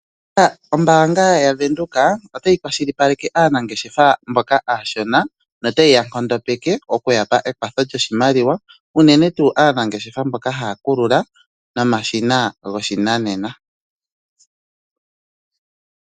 Ombaanga yaVenduka, otayi kwashilipaleke aanangeshefa mboka aashona no ta yi ya nkondopeke okuya pa ekwatho lyoshimaliwa, uunene tuu aanangeshefa mboka haya kulula nomashina goshinanena.